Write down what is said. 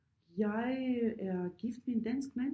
Jeg er gift med en dansk mand